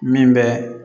Min bɛ